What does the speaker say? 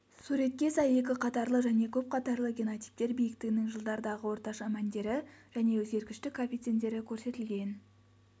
суретке сай екі қатарлы және көп қатарлы генотиптер биіктігінің жылдардағы орташа мәндері және өзгергіштік коэффициенттері көрсетілген